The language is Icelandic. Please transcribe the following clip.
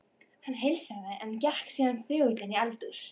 Hann heilsaði, en gekk síðan þögull inn í eldhús.